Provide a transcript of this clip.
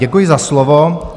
Děkuji za slovo.